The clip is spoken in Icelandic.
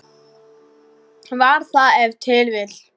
Var það ef til vill.